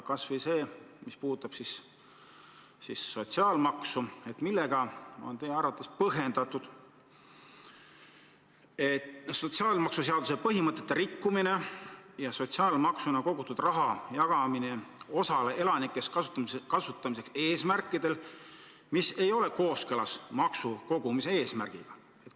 Kas või see, mis puudutab sotsiaalmaksu: millega on teie arvates põhjendatud sotsiaalmaksuseaduse põhimõtete rikkumine ja sotsiaalmaksuna kogutud raha jagamine osale elanikest kasutamiseks eesmärkidel, mis ei ole kooskõlas maksukogumise eesmärgiga?